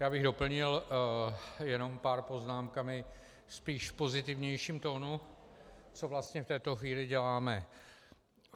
Já bych doplnil jenom pár poznámkami, spíš v pozitivnějším tónu, co vlastně v této chvíli děláme.